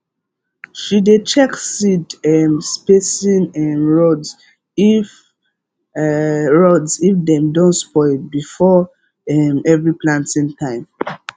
she dey check seed um spacing um rods if um rods if dem don spoil before um every planting time